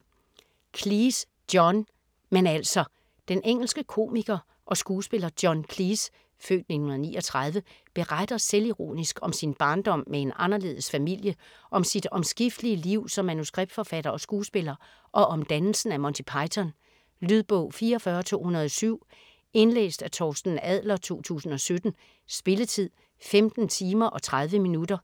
Cleese, John: Men altså - Den engelske komiker og skuespiller John Cleese (f. 1939) beretter selvironisk om sin barndom med en anderledes familie, om sit omskiftelige liv som manuskriptforfatter og skuespiller, og om dannelsen af Monty Python. Lydbog 44207 Indlæst af Torsten Adler, 2017. Spilletid: 15 timer, 30 minutter.